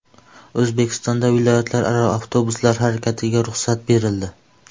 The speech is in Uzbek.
O‘zbekistonda viloyatlararo avtobuslar harakatiga ruxsat berildi.